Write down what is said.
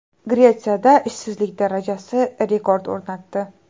Gretsiyada ishsizlik darajasi rekord o‘rnatdi.